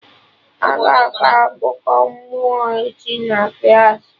Aga akọ akụkọ mmụọ echi na klaasị